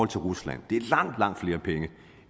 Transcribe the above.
til rusland det er langt langt flere penge